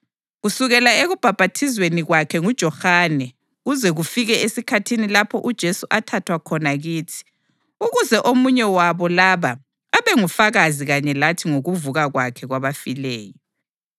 kusukela ekubhaphathizweni kwakhe nguJohane kuze kufike esikhathini lapho uJesu athathwa khona kithi. Ukuze omunye wabo laba abe ngufakazi kanye lathi ngokuvuka kwakhe kwabafileyo.”